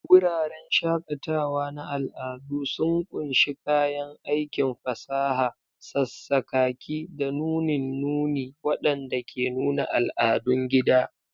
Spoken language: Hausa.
Wuraren shakatawa na al'adu sun ƙunshi kayan aikin fasaha, sassakaki, da nunin nuni waɗanda ke nuna al'adun gida.